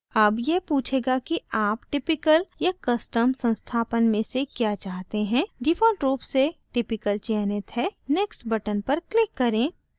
अब यह पूछेगा कि आप typical या custom संस्थापन में से क्या चाहते हैं default रूप से typical चयनित है next बटन पर click करें